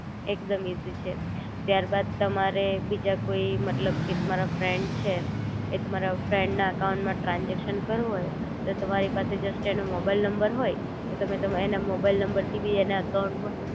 એકદમ ઈઝી છે ત્યારબાદ તમારે બીજા કોઈ મતલબ કે તમારા ફ્રેન્ડ છે એ તમારા ફ્રેન્ડ ના અકાઉંટ માં ટ્રાનજેક્શન કરવું હોય તો તમારી પાસે જસ્ટ એનો મોબાઈલ નંબર હોય, તો તમે તમા એના મોબાઈલ નંબર થી બી એના અકાઉંટ માં